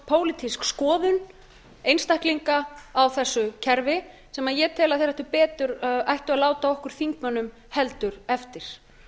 pólitísk skoðun einstaklinga á þessu kerfi sem ég tel að þeir ættu betur að láta okkur þingmönnum heldur eftir